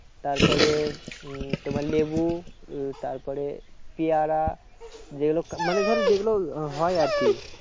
তারপরে উম তোমার লেবু উম তারপরে পিয়ারা যেগুলো মানে ধরো যেগুলো হয় আর কি